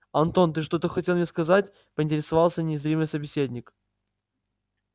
антон ты что-то хотел мне сказать поинтересовался незримый собеседник